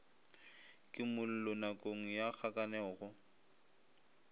kimollo nakong ya kgakanego go